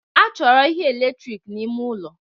A chọrọ ihe eletrik n'ime ụlọ